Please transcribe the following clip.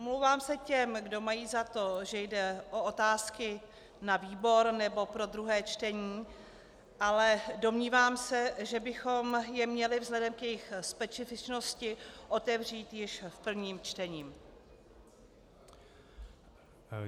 Omlouvám se těm, kdo mají za to, že jde o otázky na výbor nebo pro druhé čtení, ale domnívám se, že bychom je měli vzhledem k jejich specifičnosti otevřít již v prvním čtení.